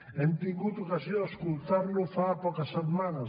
hem tingut ocasió d’escoltar lo fa poques setmanes